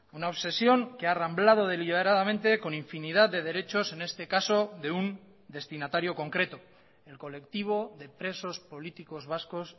una obsesión que ha arramblado deliberadamente con infinidad de derechos en este caso de un destinatario concreto el colectivo de presos políticos vascos